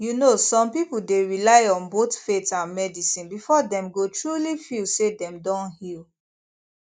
you know some people dey rely on both faith and medicine before dem go truly feel say dem don heal